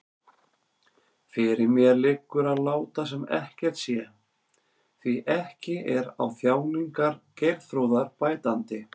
Fyrir mér liggur að láta sem ekkert sé, því ekki er á þjáningar Geirþrúðar bætandi.